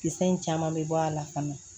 Kisɛ in caman bɛ bɔ a la fana